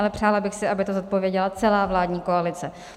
Ale přála bych si, aby to zodpověděla celá vládní koalice.